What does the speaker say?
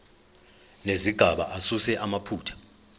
nezigaba asuse amaphutha